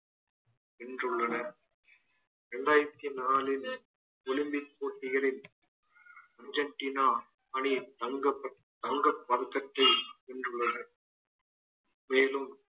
வென்றுள்ளனர் இரண்டாயிரத்தி நாலில் olympic போட்டிகளில் அர்ஜென்டினா அணியின் தங்கப் பத~ தங்கப் பதக்கத்தை வென்றுள்ளனர் மேலும்